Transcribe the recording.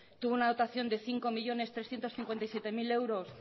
tuvo una dotación de cinco millónes trescientos cincuenta y siete mil euros